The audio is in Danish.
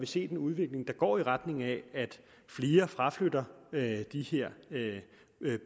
set en udvikling der går i retning af at flere fraflytter de her